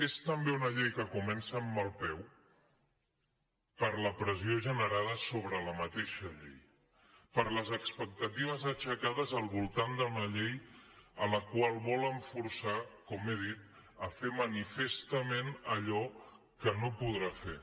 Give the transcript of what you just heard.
és també una llei que comença amb mal peu per la pressió generada sobre la mateixa llei per les expectatives aixecades al voltant d’una llei amb la qual volen forçar com he dit a fer manifestament allò que no podrà fer